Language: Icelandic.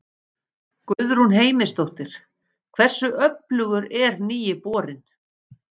Guðrún Heimisdóttir: Hversu öflugur er nýi borinn?